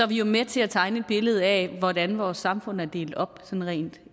vi jo med til at tegne et billede af hvordan vores samfund er delt op sådan rent